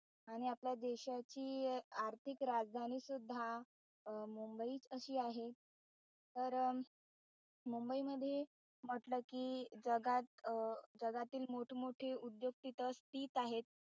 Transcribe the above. आणि आपल्या देशाची आर्थिक राजधानी सुद्धा अं मुंबईत अशी आहे तर मुंबई मध्ये म्हटलं कि जगात अं जागतील मोठमोठे उद्योग तिथे आहेत.